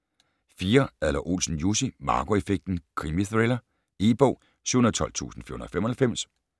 4. Adler-Olsen, Jussi: Marco effekten: krimithriller E-bog 712495